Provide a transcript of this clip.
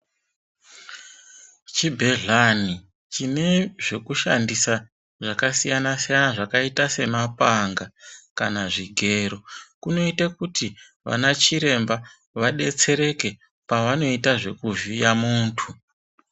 Chibhehlani chinezvekushandisa zvakasiyana siyana zvakaita semapanga kana zvigero kunoite kuti vanachiremba vadetsereke pavanoita zvekuvhiya muntu